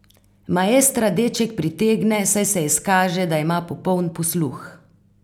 Maestra deček pritegne, saj se izkaže, da ima popoln posluh.